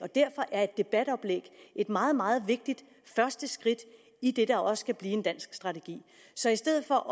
derfor er et debatoplæg et meget meget vigtigt første skridt i det der også skal blive en dansk strategi så i stedet for